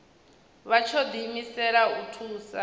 vha tsho diimisela u thusa